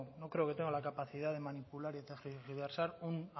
no creo que tenga la capacidad de manipular y de tergiversar un